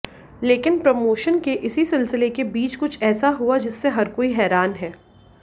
लेकिन प्रमोशन के इसी सिलसिले के बीच कुछ ऐसा हुआ जिससे हर कोई हैरान हैं